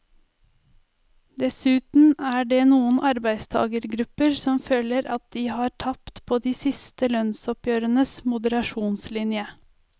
Dessuten er det noen arbeidstagergrupper som føler at de har tapt på de siste lønnsoppgjørenes moderasjonslinje.